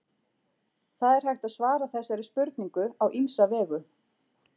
Það er hægt að svara þessari spurningu á ýmsa vegu.